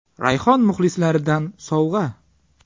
Rayhon muxlislaridan sovg‘a.